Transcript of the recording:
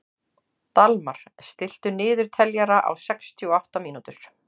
Dalmar, stilltu niðurteljara á sextíu og átta mínútur.